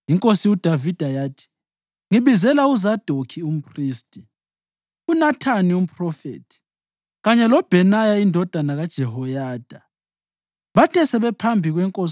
INkosi uDavida yathi, “Ngibizela uZadokhi umphristi, uNathani umphrofethi kanye loBhenaya indodana kaJehoyada.” Bathe sebephambi kwenkosi,